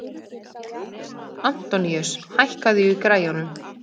Antoníus, hækkaðu í græjunum.